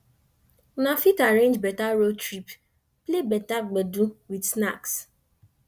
una fit arrange better road trip play better gbedu with snacks